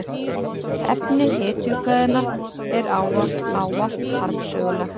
Efni hetjukvæðanna er ávallt harmsögulegt.